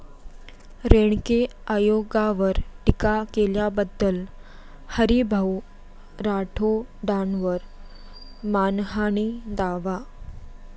रेणके आयोगावर टीका केल्याबद्दल हरीभाऊ राठोडांवर मानहानी दावा